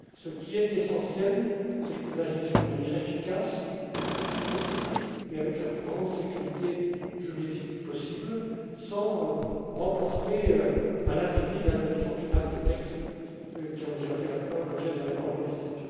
Ce qui est essentiel, c'est que nous agissions de manière efficace, le plus vite possible et avec la plus grande sécurité juridique possible, sans reporter à l'infini l'adoption finale des textes qui ont déjà fait l'objet d'un accord politique.